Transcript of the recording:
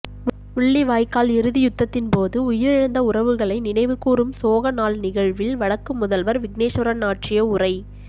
முள்ளிவாய்க்கால் இறுதி யுத்தத்தின் போது உயிரிழந்த உறவுகளை நினைவுகூரும் சோக நாள் நிகழ்வில் வடக்கு முதல்வர் விக்னேஸ்வரன் ஆற்றிய உரை